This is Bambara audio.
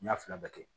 N y'a fila bɛɛ kɛ